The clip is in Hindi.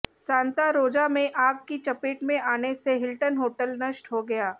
सांता रोजा में आग की चपेट में आने से हिल्टन होटल नष्ट हो गया